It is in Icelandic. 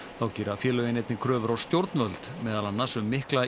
þá gera félögin einnig kröfur á stjórnvöld meðal annars um mikla